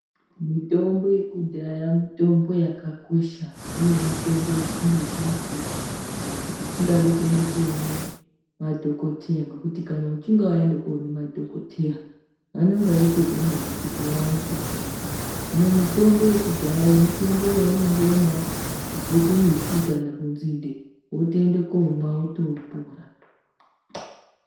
Mitombo yekudhaya mitombo yakakosha uye mitombo isingade mare kana isingadi kuende koone madhokoteya ngekuti kana uchinge waende koone madhokoteya vanenge veitode mare kuti vaone kukurapa , hino mitombo yekudhaya iyo mitombo yaunongoonawo kubve kumiti kana kunzinde wotoemde komwa wotopora.